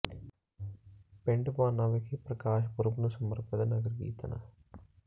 ਪਿੰਡ ਭਾਨਾ ਵਿਖੇ ਪ੍ਰਕਾਸ਼ ਪੁਰਬ ਨੂੰ ਸਮਰਪਿਤ ਨਗਰ ਕੀਰਤਨ